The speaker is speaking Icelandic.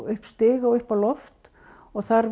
upp stiga og upp á loft og þar